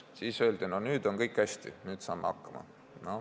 Siis öeldi, et nüüd on kõik hästi, nüüd saame hakkama.